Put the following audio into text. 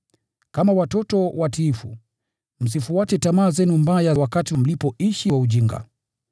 Kama watoto watiifu, msifuate tamaa zenu mbaya wakati mlipoishi kwa ujinga.